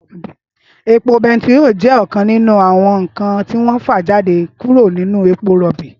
Épó pètíró jè òkán ninú áwòn nkán tiwòn fàjádé kúró ninú épó ròbí